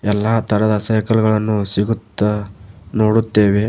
ಎಲ್ಲಾ ತರದ ಸೈಕಲ್ಗಳನ್ನು ಸಿಗುತ್ತ ನೋಡುತ್ತೇವೆ.